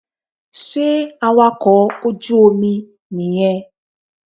Sé awakọ̀ ojú Omi yen nì